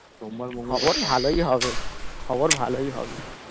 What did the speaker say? খবর ভালোই হবে খবর ভালোই হবে।